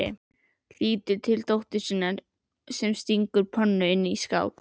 Lítur til dóttur sinnar sem stingur pönnu inn í skáp.